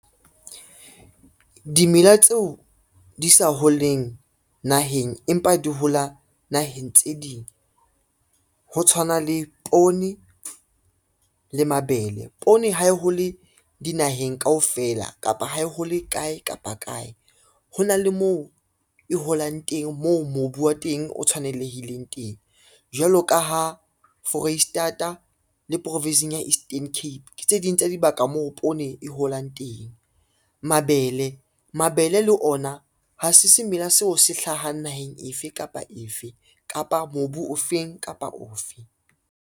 Dimela tseo di sa ho leng naheng empa di hola naheng tse ding, ho tshwana le poone le mabele. Poone ha e hole dinaheng kaofela kapa ha e hole kae kapa kae, ho na le moo e holang teng moo mobu wa teng o tshwanelehileng teng. Jwalo ka ha Foreisetata le province-ing ya Eastern Cape ke tse ding tsa dibaka moo poone e holang teng. Mabele, mabele le ona ha se semela seo se hlahang naheng efe kapa efe, kapa mobu o feng kapa ofe.